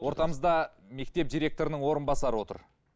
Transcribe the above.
ортамызда мектеп директорының орынбасары отыр